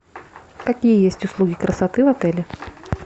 какие есть услуги красоты в отеле